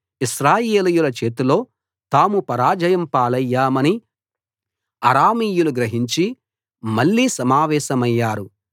ఇశ్రాయేలీయుల చేతిలో తాము పరాజయం పాలయ్యామని అరామీయులు గ్రహించి మళ్ళీ సమావేశమయ్యారు